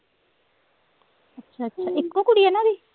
ਅੱਛਾ ਅੱਛਾ ਇੱਕੋ ਕੁੜੀ ਹੈ ਨਾ ਉਹਦੀ